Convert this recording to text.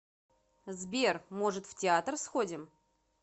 сбер может в театр сходим